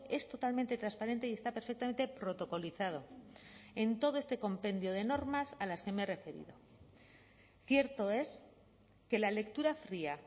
es totalmente transparente y está perfectamente protocolizado en todo este compendio de normas a las que me he referido cierto es que la lectura fría